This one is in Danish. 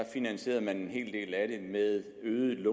finansierede man en hel del af det med øget